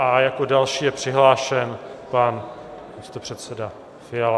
A jako další je přihlášen pan předseda Fiala.